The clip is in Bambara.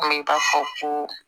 Komi i b'a fɔ ko